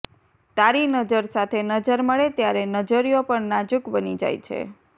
તારી નજર સાથે નજર મળે ત્યારે નજરિયો પણ નાજુક બની જાય છે